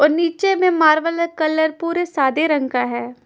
और नीचे में मार्बल हैकलर पूरे सादे रंग का है।